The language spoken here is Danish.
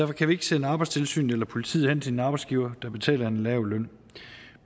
kan vi ikke sende arbejdstilsynet eller politiet hen til en arbejdsgiver der betaler en lav løn